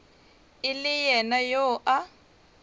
e le yena yo a